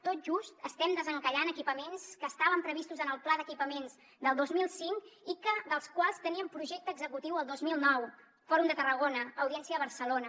tot just estem desencallant equipaments que estaven previstos en el pla d’equipaments del dos mil cinc i dels quals teníem projecte executiu el dos mil nou fòrum de tarragona audiència de barcelona